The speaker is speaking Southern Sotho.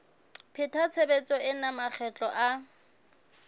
pheta tshebetso ena makgetlo a